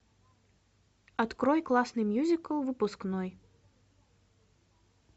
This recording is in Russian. открой классный мюзикл выпускной